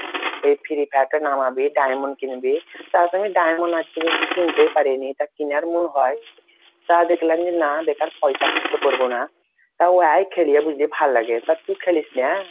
এই ফিরি fire টা নামবি diamond কিনবি তা আমি diamond আজ পর্যন্ত কিনতাই পারিনি কিনার মন করে তা দেখলাম যে না বেকার পয়সা খরচা করব না তও যায় খেইলা বেশ ভাল লাগে তুই খেলিস না ?